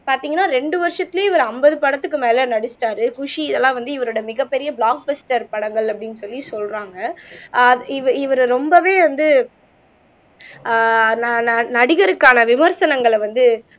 பாத்தீங்கன்னா ரெண்டு வருஷத்துலயே, இவரு ஐம்பது படத்துக்கு மேல நடிச்சிட்டாரு குஷி இதெல்லாம் வந்து, இவரோட மிகப்பெரிய ப்லாக்பஸ்டர் படங்கள் அப்படின்னு சொல்லி சொல்றாங்க ஆஹ் இவரு இவரை ரொம்பவே வந்து ஆஹ் நான் ந நடிகருக்கான விமர்சனங்களை வந்து